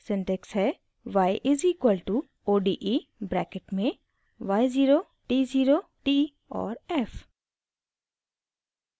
syntax है y is equal to ode bracket में y0 t0 t और f